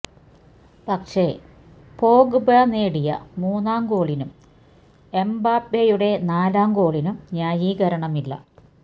പക്ഷെ പോഗ്ബ നേടിയ മൂന്നാം ഗോളിനും എംബാപ്പെയുടെ നാലാം ഗോളിനും ന്യായീകരണമില്ല